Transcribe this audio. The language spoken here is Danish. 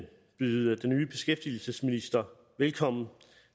byde den nye beskæftigelsesminister velkommen